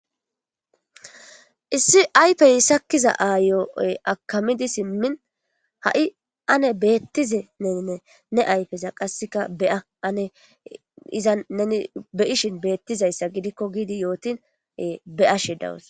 Issi ayfey sakkiza aayooy akamidi simmin ha'i ane beettizenenne ne ayfeza qasseka beya ane izan neni beyishin beettizayssa gidikko giidi yootine be'ashe dawus.